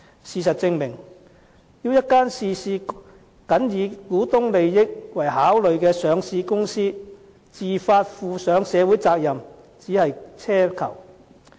事實證明，要一間事事僅以股東利益為考慮的上市公司自發負上社會責任，只是奢求。